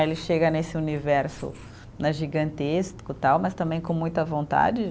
Ele chega nesse universo né gigantesco, tal, mas também com muita vontade